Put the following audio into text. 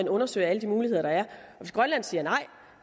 undersøger alle de muligheder der er og hvis grønland siger nej